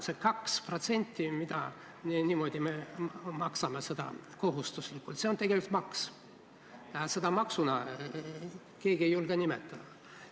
See 2%, mida me kohustuslikult maksame, on tegelikult maks, aga seda maksuks keegi ei julge nimetada.